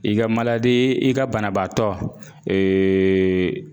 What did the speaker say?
I ka i ka banabaatɔ